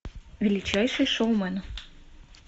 величайший шоумен